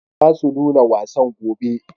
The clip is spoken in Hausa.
Za su nuna wasan gobe.